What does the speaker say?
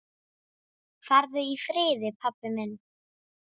Farðu í friði, pabbi minn.